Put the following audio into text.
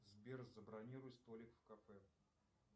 сбер забронируй столик в кафе